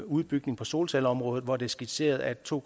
udbygning på solcelleområdet hvor det er skitseret at to